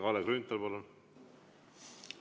Kalle Grünthal, palun!